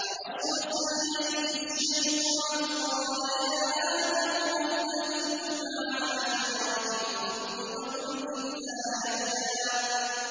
فَوَسْوَسَ إِلَيْهِ الشَّيْطَانُ قَالَ يَا آدَمُ هَلْ أَدُلُّكَ عَلَىٰ شَجَرَةِ الْخُلْدِ وَمُلْكٍ لَّا يَبْلَىٰ